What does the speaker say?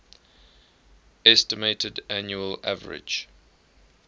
estimated annual average